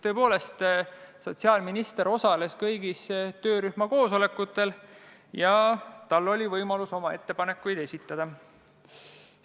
Tõepoolest, sotsiaalminister osales kõigil töörühma koosolekutel ja tal oli võimalus ettepanekuid esitada.